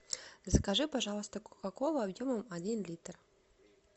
закажи пожалуйста кока колу объемом один литр